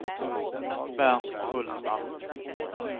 Bernt Hultman